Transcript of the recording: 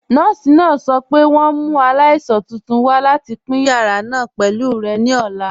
Nọọ̀si náà sọ̀ pé wọn n mú aláìsàn tuntun wà láti pin yàrà náà pẹ̀lú rẹ̀ ní ọ̀la.